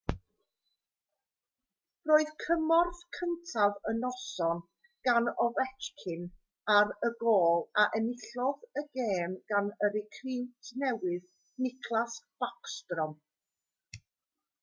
roedd cymorth cyntaf y noson gan ovechkin ar y gôl a enillodd y gêm gan y recriwt newydd nicklas backstrom